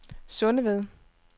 Sundeved